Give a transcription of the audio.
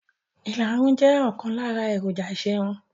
ìlarun jẹ́ ọ̀kan lára èròjà ìṣerun.